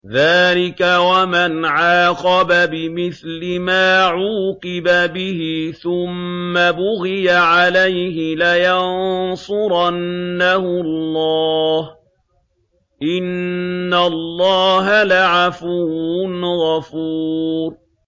۞ ذَٰلِكَ وَمَنْ عَاقَبَ بِمِثْلِ مَا عُوقِبَ بِهِ ثُمَّ بُغِيَ عَلَيْهِ لَيَنصُرَنَّهُ اللَّهُ ۗ إِنَّ اللَّهَ لَعَفُوٌّ غَفُورٌ